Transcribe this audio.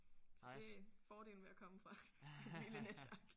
Så det fordelen ved at komme fra et lille netværk